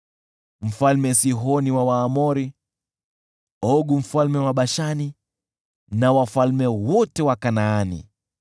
Mfalme Sihoni na Waamori, Ogu mfalme wa Bashani na wafalme wote wa Kanaani: